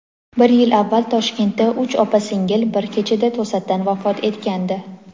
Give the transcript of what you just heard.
Bir yil avval Toshkentda uch opa-singil bir kechada to‘satdan vafot etgandi.